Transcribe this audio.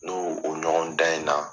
N'o o ɲɔgɔn dan in na.